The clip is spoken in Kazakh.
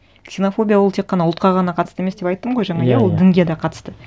ксенофобия ол тек қана ұлтқа ғана қатысты емес деп айттым ғой жаңа иә иә иә ол дінге де қатысты